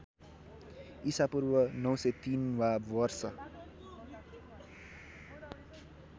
ईपू ९०३ वा वर्ष